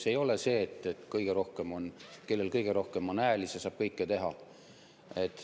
See ei ole nii, et kellel on kõige rohkem hääli, saab kõike teha.